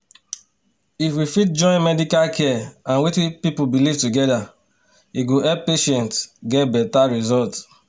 if we fit join medical care and wetin people believe together e go help patients get better result